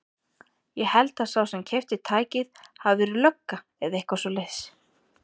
Ég held að sá sem keypti tækið hafi verið lögga eða eitthvað svoleiðis.